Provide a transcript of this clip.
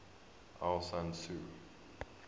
aung san suu